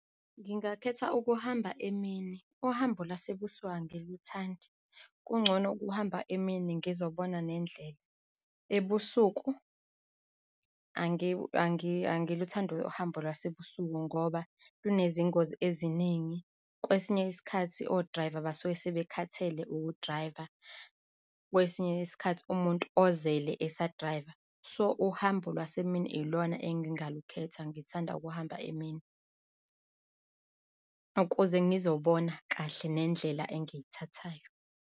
Ngingakhetha ukuhamba emini. Uhambo lwasebusuku angiluthandi, kungcono ukuhamba emini ngizobona nendlela. Ebusuku angiluthandi uhambo lwasebusuku ngoba lunezingozi eziningi. Kwesinye isikhathi o-driver basuke sebekhathele uku-drive-a, kwesinye isikhathi umuntu ozele esa-drive-a, so-uhambo olwasemini ilona engingalukhetha. Ngithanda ukuhamba emini ukuze ngizobona kahle nendlela engiyithathayo.